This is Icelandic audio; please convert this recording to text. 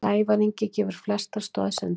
Sævar Ingi gefur flestar stoðsendingar